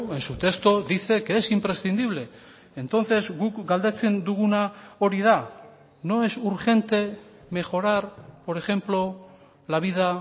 en su texto dice que es imprescindible entonces guk galdetzen duguna hori da no es urgente mejorar por ejemplo la vida